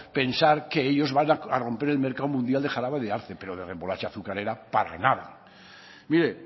pensar que ellos van a romper el mercado mundial de jarabe de arce pero de remolacha azucarera para nada mire